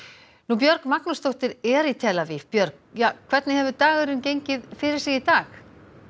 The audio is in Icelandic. Björg Magnúsdóttir er í tel Aviv björg hvernig hefur dagurinn gengið fyrir sig í dag